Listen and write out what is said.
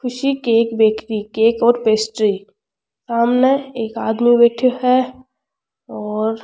खुशी cake bakery cake और pastry सामने एक आदमी बैठे है और--